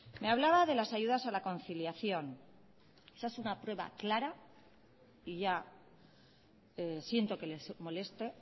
me hablaba de las ayudas a la conciliación esa es una prueba clara y ya siento que les moleste